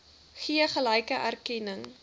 gee gelyke erkenning